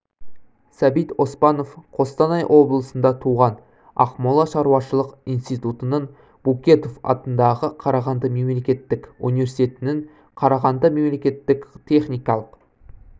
сәбит оспанов қостанай облысында туған ақмола ауылшаруашылық инситутын букетов атындағы қарағанды мемлекеттік университетін қарағанды мемлекеттік техникалық